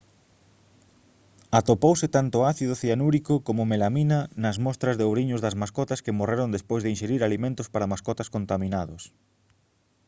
atopouse tanto ácido cianúrico como melamina nas mostras de ouriños das mascotas que morreron despois de inxerir alimentos para mascotas contaminados